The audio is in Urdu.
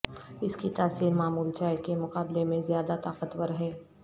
اس کی تاثیر معمول چائے کے مقابلے میں زیادہ طاقتور ہے